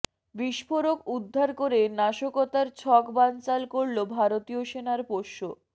বিস্ফোরক উদ্ধার করে নাশকতার ছক বানচাল করল ভারতীয় সেনার পোষ্য